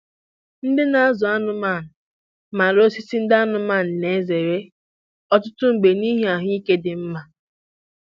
Ndị na-azụ anụmanụ maara osisi ndị anụmanụ na-ezere, ọtụtụ mgbe n'ihi ahụike dị mma.